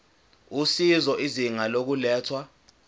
usizo izinga lokulethwa